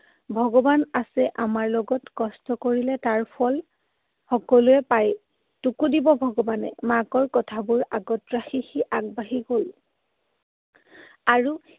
ভগৱান আছে আমাৰ লগত। কষ্ট কৰিলে তাৰ ফল সকলোৱে পায়। তোকো দিব ভগৱানে। মাকৰ কথাবোৰ আগত ৰাখি সি আগবাঢ়ি গ'ল। আৰু